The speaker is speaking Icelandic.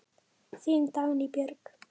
Þín Dagný Björk.